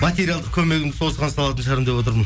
материалдық көмегімді сол осыған салатын шығармын деп отырмын